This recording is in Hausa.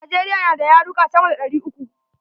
Najeriya na da yaruka sama da ɗari uku.